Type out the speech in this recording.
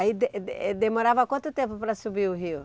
Aí demorava quanto tempo para subir o rio?